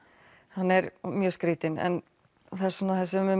hann er mjög skrítinn en svona það sem